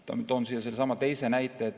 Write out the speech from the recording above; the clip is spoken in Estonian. Toon siia ka teise näite.